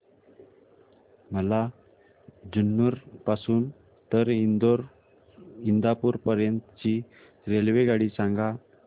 मला जुन्नर पासून तर इंदापूर पर्यंत ची रेल्वेगाडी सांगा